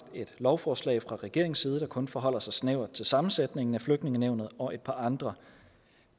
lovforslag fra regeringens side der kun forholder sig snævert til sammensætningen af flygtningenævnet og et par andre